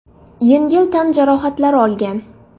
yengil tan jarohatlari olgan.